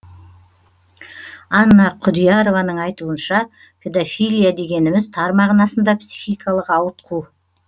анна күдиярованың айтуынша педофилия дегеніміз тар мағынасында психикалық ауытқу